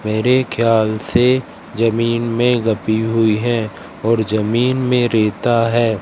मेरे ख्याल से जमीन में गती हुई है और जमीन में रेता हैं।